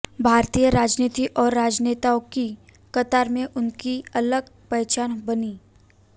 भारतीय राजनीति और राजनेताओं की कतार में उनकी अलग पहचान बनी